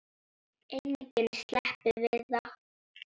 Enginn sleppur við það.